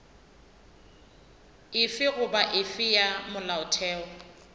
efe goba efe ya molaotheo